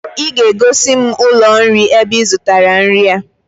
I ga-egosi m ụlọ nri ebe I zụtara nri a!